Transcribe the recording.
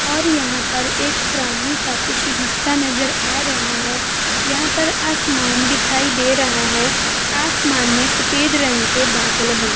और यहां पर एक प्राणी का कुछ हिस्सा नज़र आ रहा है| यहाँ पर आसमान दिखायी दे रहा है आसमान में सफ़ेद रंग के बादल हैं |